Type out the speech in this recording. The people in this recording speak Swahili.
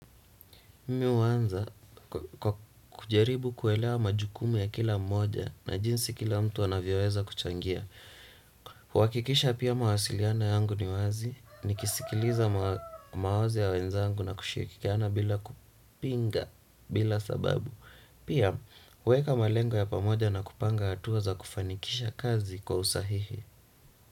Mimi huanza kwa kujaribu kuelewa majukumu ya kila mmoja na jinsi kila mtu anavyoweza kuchangia. Huhakikisha pia mawasiliana yangu ni wazi, nikisikiliza mawazo ya wenzangu na kushirikiana bila kupinga, bila sababu. Pia, huweka malengo ya pamoja na kupanga hatua za kufanikisha kazi kwa usahihi.